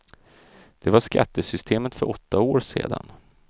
Det var skattesystemet för åtta år sedan.